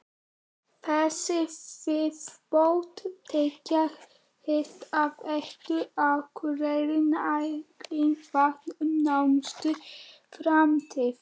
Þessi viðbót tryggir Hitaveitu Akureyrar nægilegt vatn um nánustu framtíð.